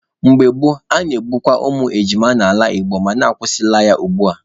Mgbe gboo, a na-egbukwa ụmụ ejima n'ala Igbo mana akwụsịla ya ugbua.